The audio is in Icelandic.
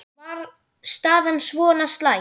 Var staðan svona slæm?